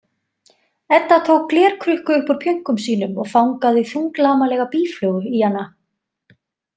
Edda tók glerkrukku upp úr pjönkum sínum og fangaði þunglamalega býflugu í hana.